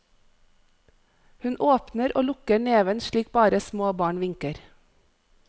Hun åpner og lukker neven slik bare små barn vinker.